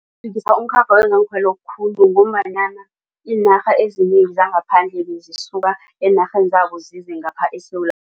ngombanyana iinarha ezinengi zangaphandle bezisuka eenarheni zabo zize ngapha eSewula